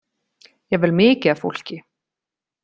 Jafnvel mikið af fólki.